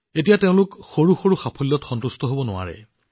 এতিয়া তেওঁলোকে সৰু সৰু সাফল্যত সন্তুষ্ট হব নোৱাৰে